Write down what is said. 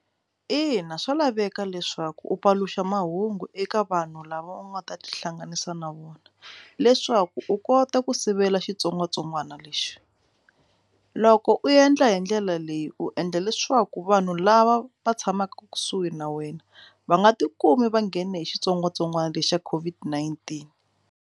Ina, swa laveka leswaku u paluxa mahungu eka vanhu lava u nga ta tihlanganisa na vona leswaku u kota ku sivela xitsongwatsongwana lexi u loko u endla hi ndlela leyi u endla leswaku vanhu lava va tshamaka kusuhi na wena va nga tikumi va nghene hi xitsongwatsongwana lexa COVID-19.